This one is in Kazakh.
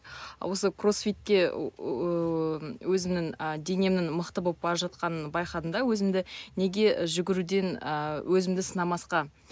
осы кроссфиттке ыыы өзімнің а денемнің мықты болып бара жатқанынын байқадым да өзімді неге жүгіруден ы өзімді сынамасқа